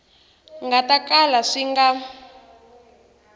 nga ta kala swi nga